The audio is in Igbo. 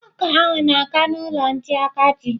Nwoke ahụ na-aga n'ụlọ ndị agadi.